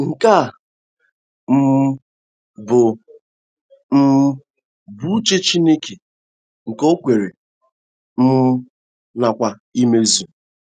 Nke a um bụ um bụ uche Chineke nke o kwere um nkwa imezu.